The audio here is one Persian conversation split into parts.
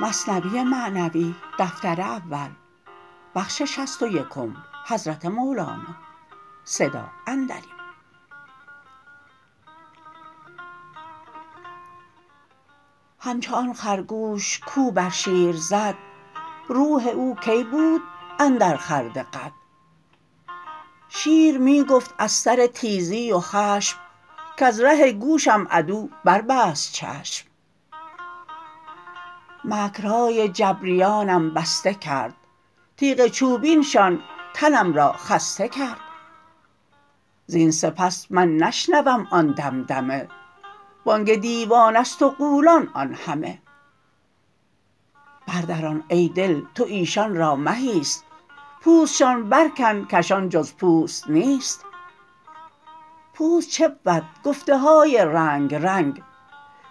همچو آن خرگوش کو بر شیر زد روح او کی بود اندر خورد قد شیر می گفت از سر تیزی و خشم کز ره گوشم عدو بر بست چشم مکرهای جبریانم بسته کرد تیغ چوبینشان تنم را خسته کرد زین سپس من نشنوم آن دمدمه بانگ دیوانست و غولان آن همه بر دران ای دل تو ایشان را مه ایست پوستشان برکن کشان جز پوست نیست پوست چه بود گفته های رنگ رنگ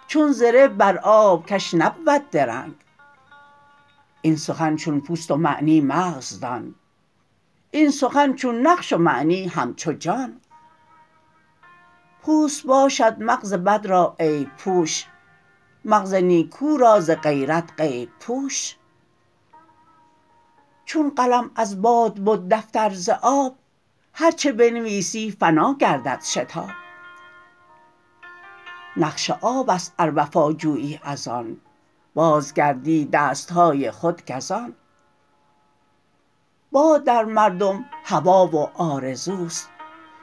چون زره بر آب کش نبود درنگ این سخن چون پوست و معنی مغز دان این سخن چون نقش و معنی همچو جان پوست باشد مغز بد را عیب پوش مغز نیکو را ز غیرت غیب پوش چون قلم از باد بد دفتر ز آب هرچه بنویسی فنا گردد شتاب نقش آبست ار وفا جویی از آن باز گردی دستهای خود گزان باد در مردم هوا و آرزوست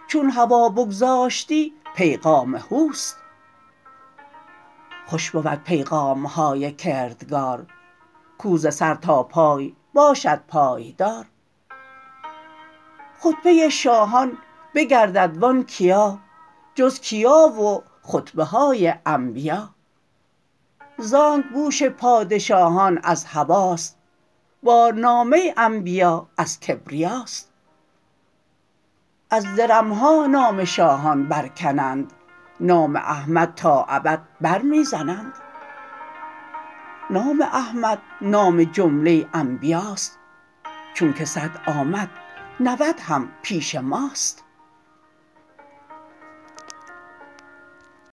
چون هوا بگذاشتی پیغام هوست خوش بود پیغامهای کردگار کو ز سر تا پای باشد پایدار خطبه شاهان بگردد و آن کیا جز کیا و خطبه های انبیا زانک بوش پادشاهان از هواست بارنامه انبیا از کبریاست از درمها نام شاهان برکنند نام احمد تا ابد بر می زنند نام احمد نام جمله انبیاست چونک صد آمد نود هم پیش ماست